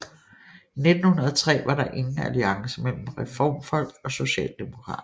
I 1903 var der ingen alliance mellem reformfolk og socialdemokrater